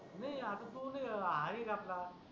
नाही आता तु न हावीर आपला